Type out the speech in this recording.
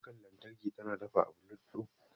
Kukar lantarki tana dafa abu luguf.